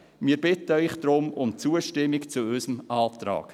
Wir bitten Sie daher um Zustimmung zu unserem Antrag.